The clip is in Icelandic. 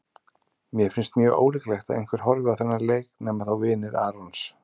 Mér finnst mjög ólíklegt að einhver horfi á þennan leik nema þá vinir Arons.